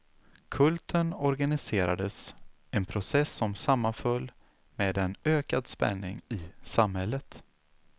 Kulten organiserades, en process som sammanföll med en ökad spänning i samhället.